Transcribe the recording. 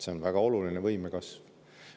See on väga oluline võimekasv.